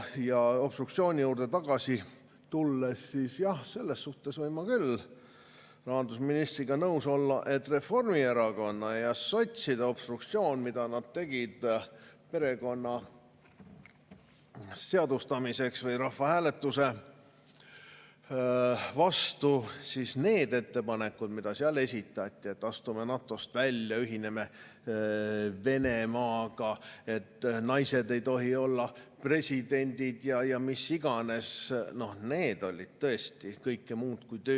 Ja obstruktsiooni juurde tagasi tulles, jah, selles suhtes võin ma küll rahandusministriga nõus olla, et Reformierakonna ja sotside obstruktsioon, mida nad tegid perekonna seadustamiseks või rahvahääletuse vastu, need ettepanekud, mis seal esitati, et astume NATO‑st välja, ühineme Venemaaga, naised ei tohi olla presidendid ja mis iganes – see oli tõesti kõike muud kui töö.